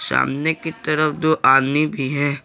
सामने की तरफ दो आदमी भी हैं।